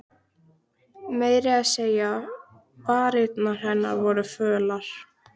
Meira að segja varirnar á henni voru fölar.